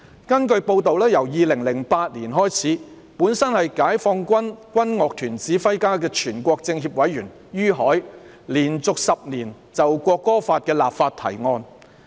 根據報道，由2008年開始，本身是解放軍軍樂團指揮家的全國政協委員于海，連續10年就《國歌法》立法提案。